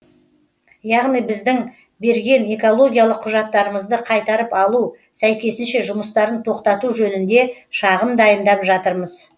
яғни біздің берген экологиялық құжаттарымызды қайтарып алу сәйкесінше жұмыстарын тоқтату жөнінде шағым дайындап жатырмыз